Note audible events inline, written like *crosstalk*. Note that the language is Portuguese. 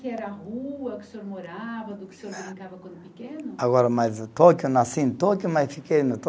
Que era a rua que o senhor morava, do que o senhor brincava quando pequeno? Agora, mas Tóquio, nasci em Tóquio, mas fiquei *unintelligible*